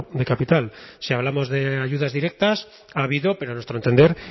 de capital si hablamos de ayudas directas ha habido pero a nuestro entender